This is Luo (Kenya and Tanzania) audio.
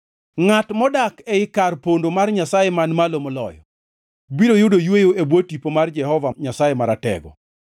Ngʼat modak ei kar pondo mar Nyasaye Man Malo Moloyo biro yudo yweyo e bwo tipo mar Jehova Nyasaye Maratego.